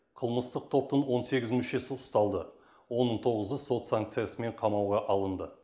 қылмыстық топтың он сегіз мүшесі ұсталды оның тоғызы сот санкциясымен қамауға алынды